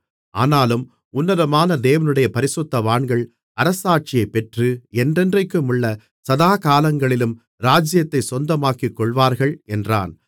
ஆனாலும் உன்னதமான தேவனுடைய பரிசுத்தவான்கள் அரசாட்சியைப்பெற்று என்றென்றைக்குமுள்ள சதா காலங்களிலும் ராஜ்ஜியத்தைச் சொந்தமாக்கிக்கொள்வார்கள் என்றான்